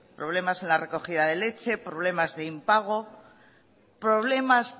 problemas en la recogida de leche problemas de impago problemas